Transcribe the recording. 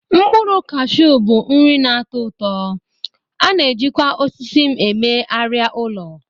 Mkpụrụ kashuu bụ nri na-atọ ụtọ, a na-ejikwa osisi m eme arịa ụlọ.